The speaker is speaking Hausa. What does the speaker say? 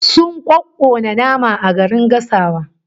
Sun kokkona nama garin gasawa